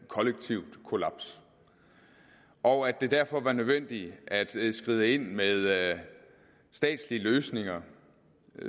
kollektivt kollaps og at det derfor var nødvendigt at skride ind med statslige løsninger